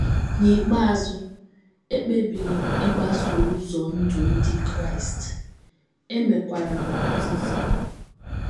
N’ikpeazụ, ekpebiri m ịgbaso ụzọ ndụ ndị Kraịst, e mekwara m baptism.